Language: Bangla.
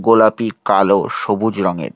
গোলাপি কালো সবুজ রঙের--